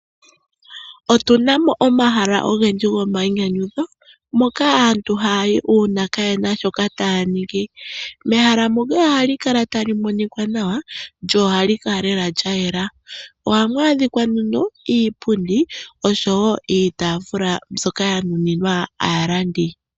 Otu na mo omahala ogendji gomayinyanyudho moka aantu haya yi uuna kaye na shoka taya ningi. Mehala moka ohamu kala tamu monika nawa lyo ohali kala lela lya yela. Ohamu adhika nduno iipundi osho wo iitaafula mbyoka ya nuninwa aalandi.